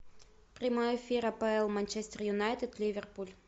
прямой эфир апл манчестер юнайтед ливерпуль